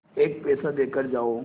एक पैसा देकर जाओ